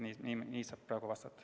Nii saab praegu vastata.